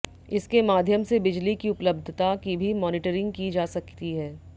इसके माध्यम से बिजली की उपलब्धता की भी मॉनीटरिंग की जा सकती है